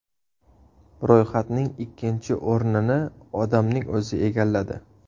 Ro‘yxatning ikkinchi o‘rnini odamning o‘zi egalladi.